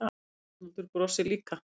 Arnaldur brosir líka.